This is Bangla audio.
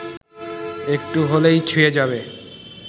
একটু হলেই ছুঁয়ে যাবে